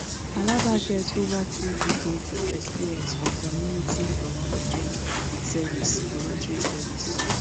alaba get over two decades of experience for community voluntary service voluntary service